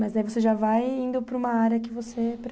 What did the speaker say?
Mas daí você já vai indo para uma área que você